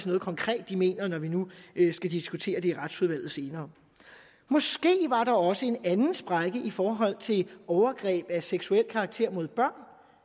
noget konkret de mener når vi nu skal diskutere det i retsudvalget senere måske var der også en anden sprække i forhold til overgreb af seksuel karakter mod børn